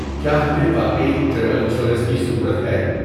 کیا ہمیں واقعی ٹریول انشورنس کی ضرورت ہے؟